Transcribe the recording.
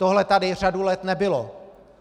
Tohle tady řadu let nebylo.